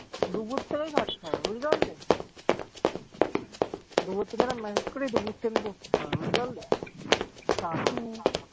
দুপুর থেকেই খাটতে হবে বুঝতে পারলে? দুপুর থেকে massage করি দুপুর থেকেই করতে হবে, বুঝতে পারলে? টাকা